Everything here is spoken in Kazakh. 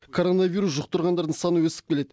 коронавирус жұқтырғандардың саны өсіп келеді